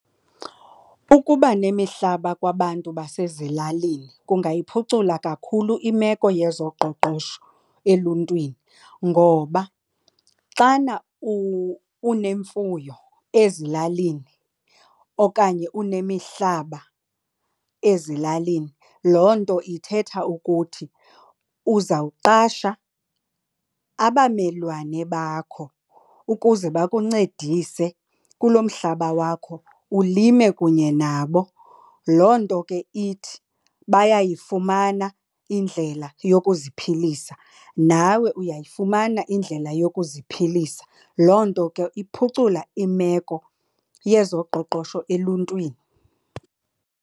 Ukuba nemihlaba kwabantu basezilalini kungayiphucula kakhulu imeko yezoqoqosho eluntwini ngoba xana unemfuyo ezilalini okanye unemihlaba ezilalini loo nto ithetha ukuthi uzawuqasha abamelwane bakho ukuze bakuncedise kulo mhlaba wakho ulime kunye nabo. Loo nto ke ithi bayayifumana indlela yokuziphilisa nawe uyayifumana indlela yokuziphilisa. Loo nto ke iphucula imeko yezoqoqosho eluntwini.